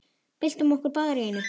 Byltum okkur báðar í einu.